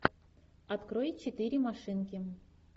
открой четыре машинки